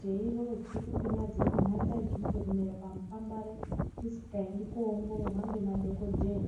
,teirova tsukupinya dzedu mhanza yejongwe kumera pamupambare tisikaendi koongororwa ngemadhokodheya.